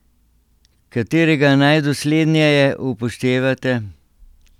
Katerega najdosledneje upoštevate?